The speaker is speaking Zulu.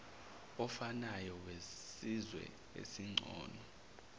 ofanayo wesizwe esingcono